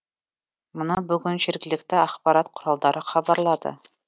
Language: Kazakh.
мұны бүгін жергілікті ақпарат құралдары хабарлады